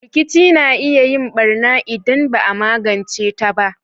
Rkici na iya yin barna idan ba a magance ta ba.